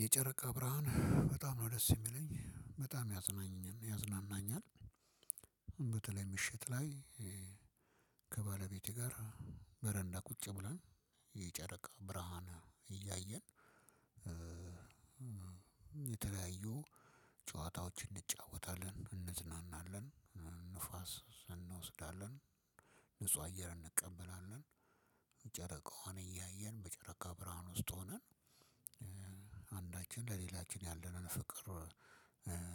የጨረቃ ብርሃን በጣም ነው ደስ የሚለኝ በጣም ያዝናኛል ያዝናናኛል። በተለይ ምሽት ላይ ከባለቤቴ ጋር በረንዳ ቁጭ ብለን የጨረቃ ብርሃን እያየን- የተለያዩ ጨዋታዎችን እንጫወታለን። እንዝናናለን። ነፋስ እንወስዳለን። ንጹህ አየር እንቀበላለን። ጨረቃዋን እያየን በጨረቃ ብርሃን ውስጥ ሆነን- አንዳችን ለሌላችን ያለንን ፍቅር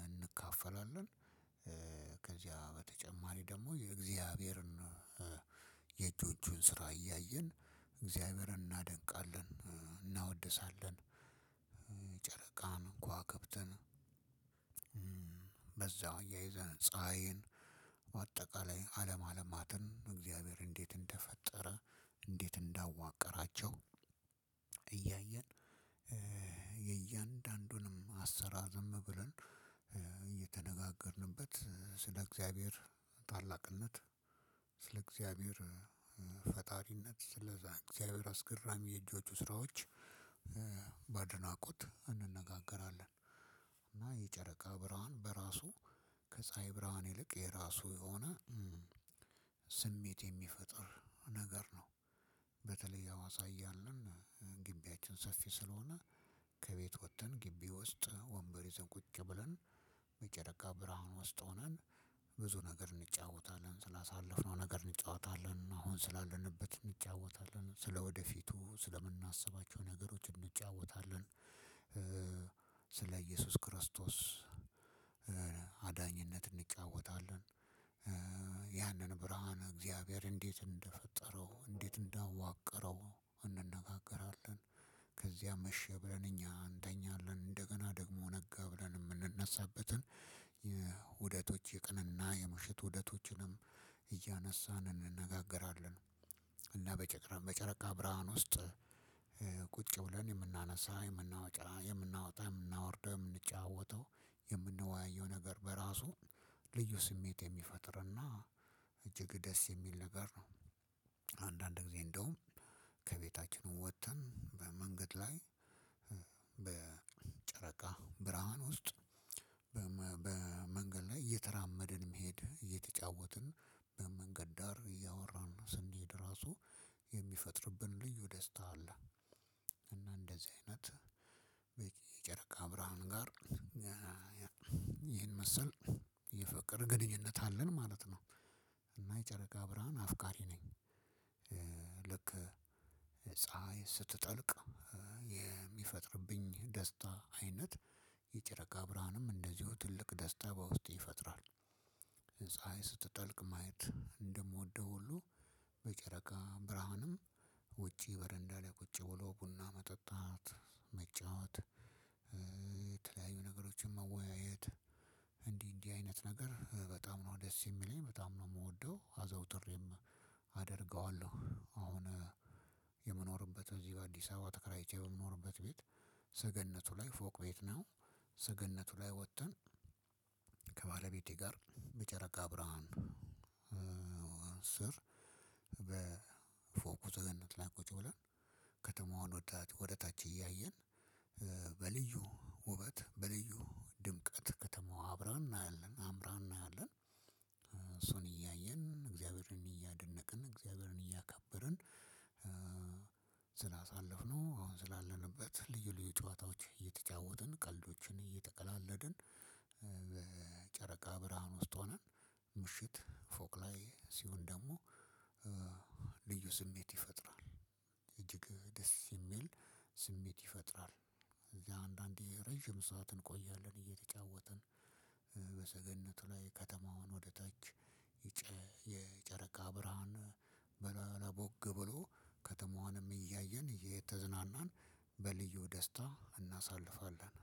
እንካፈላለን። ከዚያ በተጨማሪ ደሞ የእግዚአብሔርን የእጆቹን ስራ እያየን እግዚአብሔርን እናደንቃለን። እናወድሳለን። ጨረቃን ከዋከብትን በዛው እያይዘን ፀሀይን በአጠቃላይ አለም አለማትን እግዚአብሔር እንዴት እንደፈጠረ እንዴት እንዳዋቀራቸው- እያየን የእያንዳንዱንም አሰራር ዝም ብለን እየተነጋገርንበት ስለ እግዚአብሔር ታላቅነት ስለ እግዚአብሔር ፈጣሪነት ስለ እግዚአብሔር አስገራሚ የእጆቹ ስራዎች- በአድናቆት እንነጋገራለን። እና የጨረቃ ብርሃን በራሱ ከፀሀይ ብርሃን ይልቅ የራሱ የሆነ ስሜት የሚፈጥር ነገር ነው። በተለይ አዋሳ እያለን ግቢያችን ሰፊ ስለሆነ ከቤት ወጥተን ግቢ ውስጥ ወንበር ይዘን ቁጭ ብለን- የጨረቃ ብርሃን ውስጥ ሆነን ብዙ ነገር እንጫወታለን። ስላሳለፍነው ነገር እንጫወታለን። አሁን ስላለንበት እንጫወታለን። ስለወደፊቱ ስለምናስባቸው ነገሮች እንጫወታለን። ስለ እየሱስ ክርስቶስ አድራጊነት እንጫወታለን። ያንን ብርሃን እግዚአብሔር እንዴት እንደፈጠረው። እንዴት እንዳዋቀረው እንነጋገራለን። ከዚያ መሸ ብለን እኛ እንተኛለን። እደገና ደሞ ነጋ ብለን የምንነሳበት ኡደቶች የቀን ና የምሸት ኡደቶችንም እያነሳን እንነጋገራለን። ቁጭ ብለን የምናነሳ የምናወጣ የምናወጣ የምናወርደው የምንጫወተው የምንወያየው ነገር በራሱ ልዩ ስሜት የሚፈጥርና እጅግ ደስ የሚል ነገር ነው። አንዳንድ ጊዜ እንደውም ከቤታችንም ወጥተን በመንገድ ላይ- በጨረቃ ብርሃን ውስጥ በመንገድ ላይ እየተራመድን መሄድ እየተጫወትን በመንገድ ዳር እያወራን ስንሄድ ራሱ- የሚፈጥርብን ልዩ ደስታ አለ :እና እንደዚህ አይነት የጨረቃ ብርሃን ጋር- መሰል የፍቅር ግንኙነት አለን ማለት ነው። እና የጨረቃ ብርሃን አፍቃሪ ነኝ። ልክ ፀሀይ ስትጠልቅ የሚፈጥርብኝ ደስታ አይነት የጨረቃ ብርሃንም እንደዚሁ ትልቅ ደስታ በውስጤ ይፈጥራል። ስትጠልቅ ማየት እንደምወደው ሁሉ በጨረቃ ብርሃንም ውጪ በረንዳ ላይ ቁጭ ብሎ ቡና መጠጣት መጫወት- የተለያዩ ነገሮችን መወያየት እንዲህ እንዲህ አይነት ነገር በጣም ነው ደስ የሚለኝ። በጣም ነው የምወደው። አዘውትሬም አደርገዋለሁ። አሁን የምኖርበት እዚህ በአዲስ አበባ ተከራይቼ በምኖርበት ቤት ሰገነቱ ላይ ፎቅ ቤት ነው ሰገነቱ ላይ ወጥተን- ከባለቤቴ ጋር በጨረቃ ብርሃን ስር በፎቁ ሰገነት ላይ ቁጭ ብለን ከተማውን ወደ ታች እያየን- በልዩ ውበት በልዩ ድምቀት ከተማው አብራ እናያለን። አምራ እናያለን። እሱን እያየን እግዚአብሔርን እያደነቅን እግዚአብሔርን እያከበርን- ስላሳለፍነው አሁን ስላለንበት ልዩ ልዩ ጨዋታዎች እየተጫወትን ቀልዶችን እየተቀላለድን- በጨረቃ ብርሃን ውስጥ ሆነን ምሽት ፎቅ ላይ ሲሆን ደግሞ ልዩ ስሜት ይፈጥራል። እጅግ ደስ የሚል ስሜት ይፈጥራል። እዚያ አንዳንዴ ረጅም ሰዓትን እንቆያለን እየተጫወትን። በሰገነቱ ላይ ከተማውን ወደ ታች- የጨረቃ ብርሃን በለቦግ ብሎ ከተማዋንም እያየን እየተዝናናን በልዩ ደስታ እናሳልፋለን።